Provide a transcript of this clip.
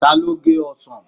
Ta ló gé ọsàn?